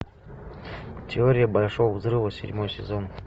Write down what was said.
теория большого взрыва седьмой сезон